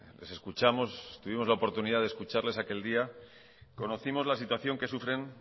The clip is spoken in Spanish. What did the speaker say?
les escuchamos tuvimos la oportunidad de escucharles aquel día conocimos la situación que sufren